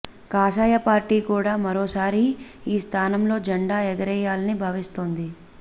కాషాయ పార్టీ కూడా మరోసారి ఈ స్థానంలో జెండా ఎగరేయాలని భావిస్తోంది